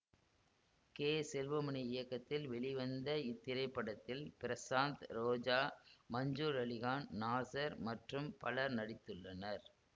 K Selvamani இயக்கத்தில் வெளிவந்த இத்திரைப்படத்தில் பிரசாந்த் ரோஜா மன்சூர் அலிகான் நாசர் மற்றும் பலர் நடித்துள்ளனர்